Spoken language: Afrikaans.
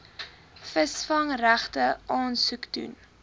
visvangsregte aansoek doen